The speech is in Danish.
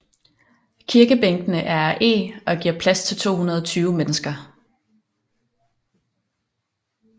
Kirkebænkene er af eg og giver plads til 220 mennesker